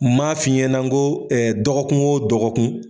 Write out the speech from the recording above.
Maa fiɲɛ nko dɔgɔkun o dɔgɔkun.